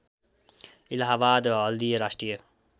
इलाहाबाद हल्दिए राष्ट्रिय